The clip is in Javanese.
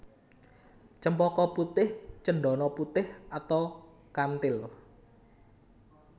Cempaka putih cendana putih atau kantil